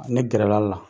Ne gɛrɛla la